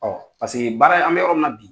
paseke baara an bɛ yɔrɔ mina bi.